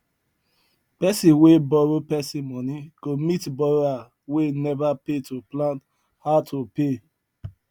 person wey borrow person money go meet borrower wey never pay to plan how to pay